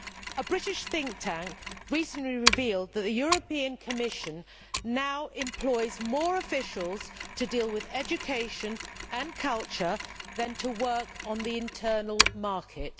A British think tank recently revealed that the Commission now employs more officials to deal with education and culture than to work on the internal market.